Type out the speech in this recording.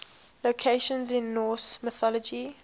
locations in norse mythology